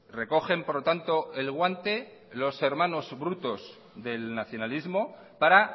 recogen por lo tanto el guante los hermanos brutos del nacionalismo para